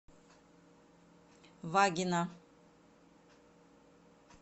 вагина